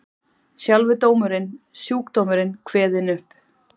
Sjálfur dómurinn, sjúkdómurinn kveðinn upp.